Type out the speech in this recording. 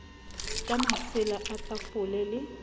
ka masela a tafole le